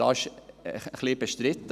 Das wurde ein wenig bestritten.